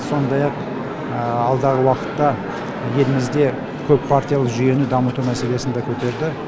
сондай ақ алдағы уақытта елімізде көппартиялы жүйені дамыту мәселесін де көтерді